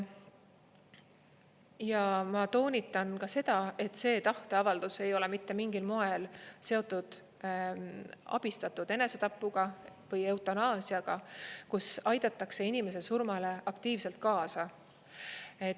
Ja ma toonitan ka seda, et see tahteavaldus ei ole mitte mingil moel seotud abistatud enesetapuga või eutanaasiaga, kus aidatakse inimese surmale aktiivselt kaasa.